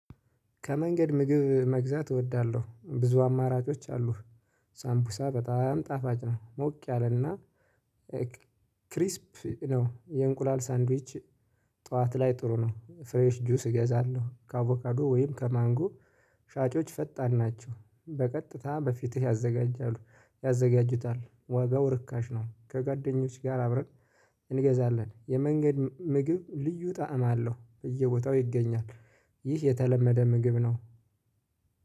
ከመንገድ ምግብ መግዛት እወዳለሁ ብዙ አማራጮች አሉ። ሳምቡሳ በጣም ጣፋጭ ነው ሞቅ ያለን እና። ክሪስፕ ነው የእንቁላል ሳንድዊች። ጠዋት ላይ ጥሩ ነው። ፍሬሽ ጁስ እገዛለሁ ከአቮካዶ ወይም ከማንጎ። ሻጮች ፈጣን ናቸው በቀጥታ በፊትህ ያዘጋጃሉ ያዘጋጁታል ዋጋው ርካሽ ነው። ከጓደኞች ጋር አብረን። እንገዛለን የመንገድ ምግብ ልዩ ጣዕም አለው በየቦታው ይገኛል። ይህ የተለመደ ምግብ ነው